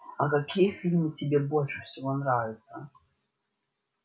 а какие фильмы тебе больше всего нравятся